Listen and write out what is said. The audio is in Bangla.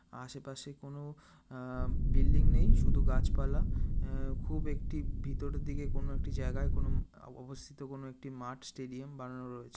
আশেপাশে কোনো আ- আ বিল্ডিং নেই শুধু গাছপালা। অ্যা খুব একটি ভিতরের দিকে কোন একটি জায়গায় কোন ম অবস্থিত কোন একটি মাঠ স্টেডিয়াম বানানো রয়েছে।